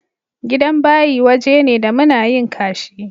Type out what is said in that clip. Gidan bayi waje ne da muna yin ƙashi.